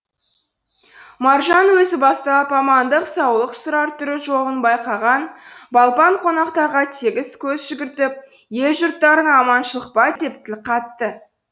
маржанның өзі бастап амандық саулық сұрар түрі жоғын байқаған балпан қонақтарға тегіс көз жүгіртіп ел жұрттарың аманшылық па деп тіл қатты